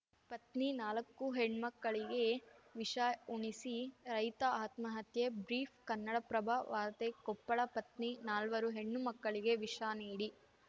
ಪತ್ನಿ ನಾಲಕ್ಕು ಹೆಣ್ಮಕ್ಕಳಿಗೆ ವಿಷ ಉಣಿಸಿ ರೈತ ಆತ್ಮಹತ್ಯೆ ಬ್ರೀಫ್‌ ಕನ್ನಡಪ್ರಭ ವಾರ್ತೆ ಕೊಪ್ಪಳ ಪತ್ನಿ ನಾಲ್ವರು ಹೆಣ್ಣುಮಕ್ಕಳಿಗೆ ವಿಷ ನೀಡಿ